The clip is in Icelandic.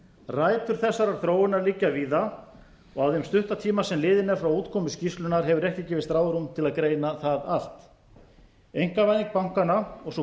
rætur þessarar þróunar liggja víða og á þeim stutta tíma sem liðinn er frá útkomu skýrslunnar hefur ekki gefist ráðrúm til að greina það allt einkavæðing bankanna og sú